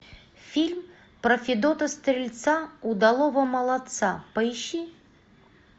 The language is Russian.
фильм про федота стрельца удалого молодца поищи